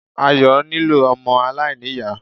Ayọ̀ nílò ọmọ aláìní-Ìyá.